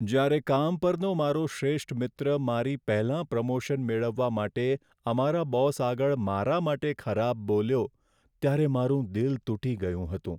જ્યારે કામ પરનો મારો શ્રેષ્ઠ મિત્ર મારી પહેલાં પ્રમોશન મેળવવા માટે અમારા બોસ આગળ મારા માટે ખરાબ બોલ્યો ત્યારે મારું દિલ તૂટી ગયું હતું.